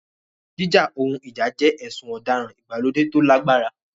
Jíjà ohun ìjà jẹ́ ẹ̀sùn ọ̀daràn ìgbàlódé tó lágbára.